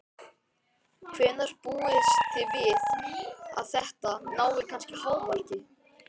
Hvenær búist þið við að þetta nái hámarki?